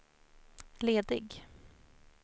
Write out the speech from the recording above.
ledig